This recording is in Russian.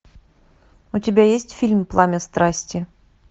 у тебя есть фильм пламя страсти